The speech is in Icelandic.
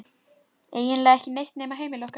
Eiginlega ekki neitt nema heimili okkar.